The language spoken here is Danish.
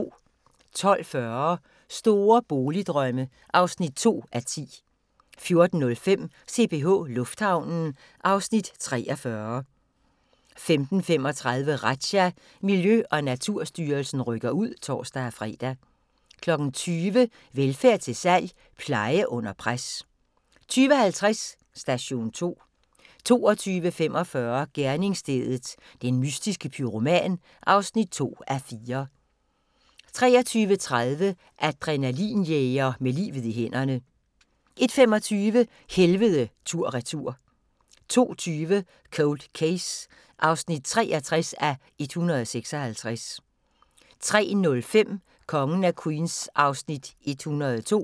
12:40: Store boligdrømme (2:10) 14:05: CPH Lufthavnen (Afs. 43) 15:35: Razzia – Miljø- og Naturstyrelsen rykker ud (tor-fre) 20:00: Velfærd til salg – pleje under pres 20:50: Station 2 22:45: Gerningsstedet – den mystiske pyroman (2:4) 23:30: Adrenalin-jæger med livet i hænderne 01:25: Helvede tur/retur 02:20: Cold Case (63:156) 03:05: Kongen af Queens (102:216)